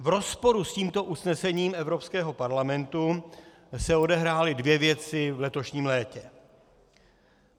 V rozporu s tímto usnesením Evropského parlamentu se odehrály dvě věci v letošním létě.